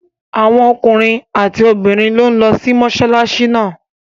Awon ookunrin ati obirin n lo si mosolasi naa